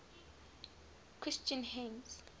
christian hymns